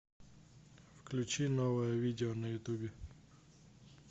включи новое видео на ютубе